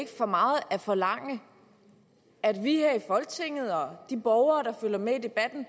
ikke for meget at forlange at vi her i folketinget og de borgere der følger med i debatten